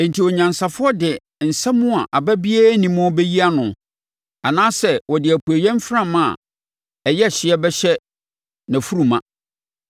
“Enti onyansafoɔ de nsɛm a aba biara nni muo bɛyi nʼano anaasɛ ɔde apueeɛ mframa a emu yɛ hye bɛhyɛ nʼafuru ma?